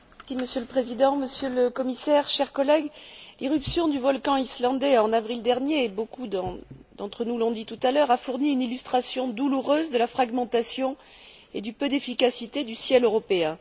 Monsieur le Président, Monsieur le Commissaire, chers collègues, l'éruption du volcan islandais en avril dernier et beaucoup d'entre nous l'ont dit tout à l'heure a fourni une illustration douloureuse de la fragmentation et du peu d'efficacité du ciel européen.